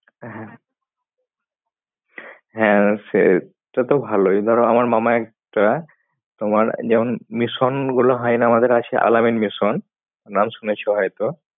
হ্যাঁ হ্যাঁ সে তাতো ভালই ধরো আমার মামা একটা তোমার যেমন mission গুলো হয় না আমাদের আছে Al-Ameen mission নাম শুনেছো হয়তো